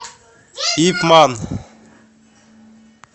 ип ман